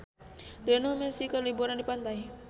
Lionel Messi keur liburan di pantai